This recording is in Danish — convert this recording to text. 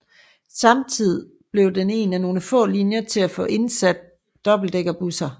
Samtidig blev den en af nogle få linjer til at få indsat dobbeltdækkerbusser